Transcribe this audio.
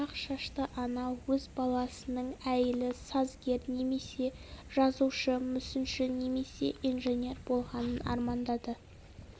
ақ шашты ана өз баласының әйілі сазгер немесе жазушы мүсінші немесе инженер болғанын армандады